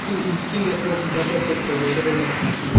skill skill develop করতে হবে এটা বলতে চাচ্ছেন আপনি ?